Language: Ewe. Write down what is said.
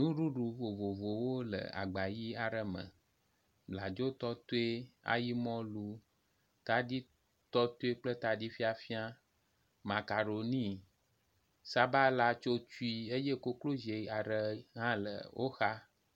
Nuɖuɖu vovovowo le agba ʋi aɖe me, bladzo tɔtɔe ayi mɔlu, taɖi tɔtɔe kple taɖi fiafia makaroni sabala tsotoe eye koklozi aɖe hã le woxa